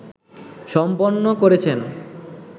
সম্পন্ন করেছেন